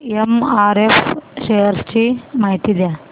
MRF shares ची माहिती द्या